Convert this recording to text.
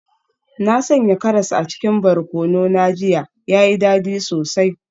Na sanya karas a cikin barkono na jiya, ya yi dadi sosai.